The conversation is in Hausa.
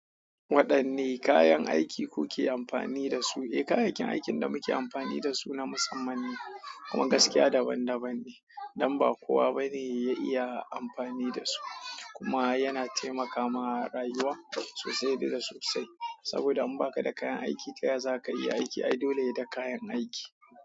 Waɗanne kayan aiki kuke amfani da su? Eh, kayayyakin aikin da muke amfani da su na musamman ne kuma gaskiya daban-daban ne, don ba kowa ba ne ya iya amfani da su kuma yana taimaka ma rayuwa sosai da sosai. Saboda in baka da kayan aiki ka ya za ka yi aiki? Ai dole ye da kayan aiki.